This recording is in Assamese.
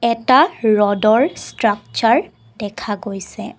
এটা ৰডৰ ষ্ট্ৰাক্সাৰ দেখা গৈছে।